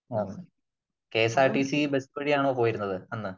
ആ K S R T C bus വഴിയാണോ പോയത് ?